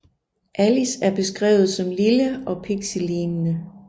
Alice er beskrevet som lille og pixielignende